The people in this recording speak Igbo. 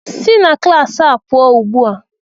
Si na klas a pụọ ugbu a!